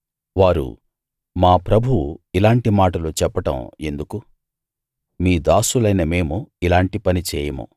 వారు మా ప్రభువు ఇలాంటి మాటలు చెప్పడం ఎందుకు మీ దాసులైన మేము ఇలాంటి పని చేయము